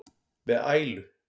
með ælu.